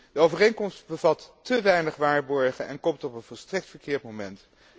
De overeenkomst bevat te weinig waarborgen en komt op een volstrekt verkeerd moment.